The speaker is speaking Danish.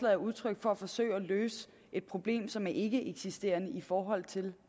er udtryk for et forsøg på at løse et problem som er ikkeeksisterende i forhold til